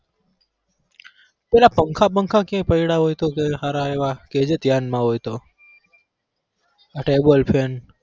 પેલા પંખા પંખા ક્યાંક પૈડા હોય તો ક્યાંક હારા એવા કહેજે ધ્યાનમાં હોય તો આ table fan